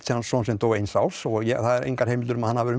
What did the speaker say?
son sem dó eins árs og það eru engar heimildir um að hann hafi